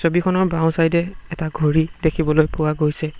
ছবিখনৰ বাওঁ চাইড এ এটা ঘড়ী দেখিবলৈ পোৱা গৈছে।